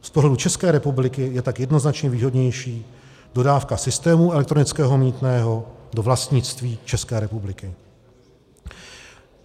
Z pohledu České republiky je tak jednoznačně výhodnější dodávka systému elektronického mýtného do vlastnictví České republiky.